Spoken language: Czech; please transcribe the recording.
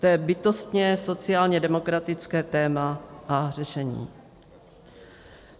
To je bytostně sociálně demokratické téma a řešení.